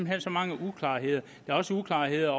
hen så mange uklarheder der er også uklarheder